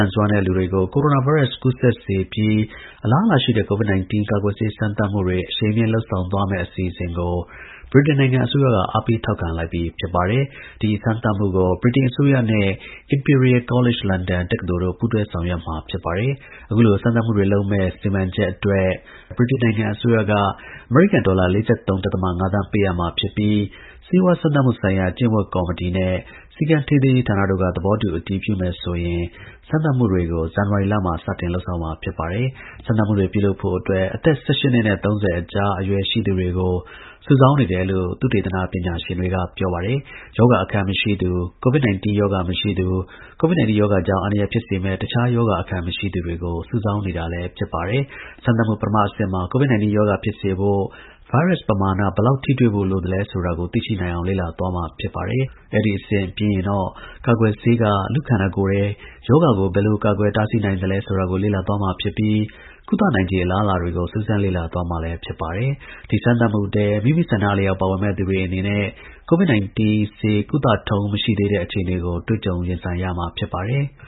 န်စွမ်းတဲ့ လူတွေကို ကိုရိုနာဗိုင်းရပ်စ် ကူးစက်စေပြီး အလားအလာရှိတဲ့ COVID 19 ကာကွယ်ဆေး စမ်းသပ်မှု အရှိန်မြင့် လုပ်ဆောင်သွားမယ့် အစီအစဉ်ကို ဗြိတိန်နိုင်ငံ အစိုးရက အားပေး ထောက်ခံလိုက်ပြီ ဖြစ်ပါတယ်။ ဒီ စမ်းသပ်မှုကို ဗြိတိန် အစိုးရနဲ့ Imperial College London တက္ကသိုလ်တို့ ပူးတွဲ ဆောင်ရွက်မှာ ဖြစ်ပါတယ်။ အခုလို စမ်းသပ်မှုတွေ လုပ်မယ့် စီမံချက်အတွက် ဗြိတိန် အစိုးရက အမေရိကန်ဒေါ်လာ ၄၃.၅ သန်းပေးအပ်မှာဖြစ်ပြီးဆေးဝါးစမ်းသပ် မှု ဆိုင်ရာ ကျင့်ဝတ်ကော်မတီနဲ့ စည်းကမ်းထိန်းသိမ်းရေးဌာနတို့က သဘောတူ အတည်ပြုမယ်ဆိုရင် စမ်းသပ်မှုကို ဇန်နဝါရီ လမှာ စတင်မှာ ဖြစ်ပါတယ်။ စမ်းသပ်မှုတွေ ပြုလုပ်ဖို့ အသက် ၁၈ နှစ်နဲ့ ၃၀ အကြား အရွယ် ရှိသူတွေကို စုဆောင်းနေတယ်လို့ သုတေသန ပညာရှင်တွေက ပြော ပါတယ်။ ရောဂါ အခံမရှိသူ၊ COVID 19 ရောဂါ မရှိသူ၊ COVID 19 ရောဂါကြောင့် အန္တရာယ်ဖြစ်စေမယ့် တခြား ရောဂါ အခံ မရှိသူတွေ ကို စုဆောင်းနေတာလည်း ဖြစ်ပါတယ်။ စမ်းသပ်မှု ပထမအဆင့်မှာ COVID 19 ရောဂါ ဖြစ်စေဖို့ ဗိုင်းရပ်စ် ပမာဏ ဘယ်လောက် ထိတွေ့ဖို့ လိုအပ်သလဲဆိုတာကို သိရှိနိုင်အောင်လေ့လာသွားမှာ ဖြစ်ပါတယ်။ အဲဒီ အဆင့် ပြီးရင်တော့ ကာကွယ်ဆေးက လူ့ ခန္ဓာကိုယ်ထဲ ရောဂါကို ဘယ်လို ကာကွယ် တားဆီးနိုင်သလဲဆိုတာကို လေ့လာသွား မှာ ဖြစ်ပြီး ကုသနိုင်ခြေ အလားအလာတွေကို စူးစမ်းလေ့လာသွားမှာ ဖြစ်ပါတယ်။ ဒီ စမ်းသပ်မှုထဲ မိမိ ဆန္ဒအလျောက် ပါဝင်မယ့်သူတွေ အနေနဲ့ COVID 19 ဆေး ကုသထုံးမှု မရှိသေးတဲ့ အခြေအနေကို တွေ့ကြုံ ရင်ဆိုင်ရမှာ ဖြစ်ပါတယ်။